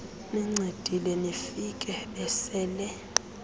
nincedile nifike besele